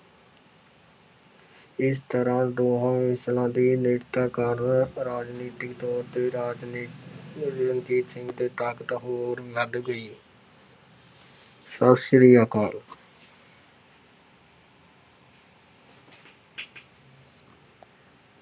ਇਸ ਤਰ੍ਹਾਂ ਦੋਹਾਂ ਮਿਸ਼ਲਾਂ ਦੀ ਨੇੜਤਾ ਕਾਰਨ ਰਾਜਨੀਤਿਕ ਤੌਰ ਤੇ ਰਾਜਨੀ ਰਣਜੀਤ ਸਿੰਘ ਦੀ ਤਾਕਤ ਹੋਰ ਵੱਧ ਗਈ ਸਤਿ ਸ੍ਰੀ ਅਕਾਲ।